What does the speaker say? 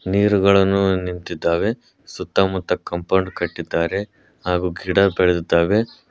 ನೀರುಗಳನ್ನು ನಿಂತಿದ್ದಾವೆ ಸುತ್ತಲೂ ಸುತ್ತಮುತ್ತ ಕಾಂಪೌಂಡ್ ಅನ್ನು ಕಟ್ಟಿದ್ದಾರೆ ಹಾಗೂ ಗಿಡ ಬೆಳೆದಿದೆ.